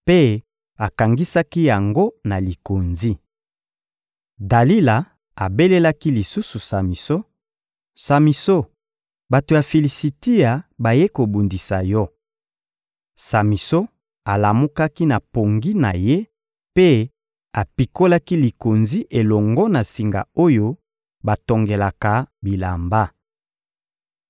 mpe akangisaki yango na likonzi. Dalila abelelaki lisusu Samison: «Samison, bato ya Filisitia bayei kobundisa yo!» Samison alamukaki na pongi na ye mpe apikolaki likonzi elongo na singa oyo batongelaka bilamba.